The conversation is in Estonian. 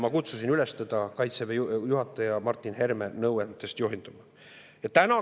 Ma kutsusin teda üles juhinduma Kaitseväe juhataja Martin Heremi nõu.